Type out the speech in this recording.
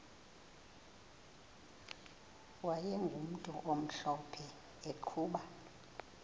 wayegumntu omhlophe eqhuba